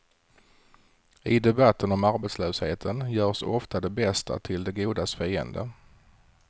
I debatten om arbetslösheten görs ofta det bästa till det godas fiende.